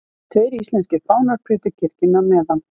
Tveir íslenskir fánar prýddu kirkjuna meðan